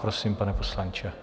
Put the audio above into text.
Prosím, pane poslanče.